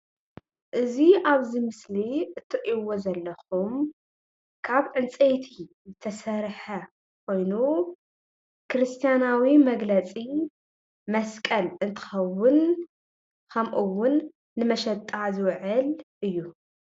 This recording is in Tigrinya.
እዚ ኣብዚ ምስሊ እትሪእዎ ዘለኹም ካብ ዕንፀይቲ ዝተሰርሐ ኮይኑ ክርስትያናዊ መግለፂ መስቀል እንትኸዉን ከም እውን ንመሸጣ ዝዉዕል እዩ ።